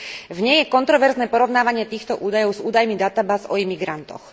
V nej je kontroverzné porovnávanie týchto údajov s údajmi databáz o imigrantoch.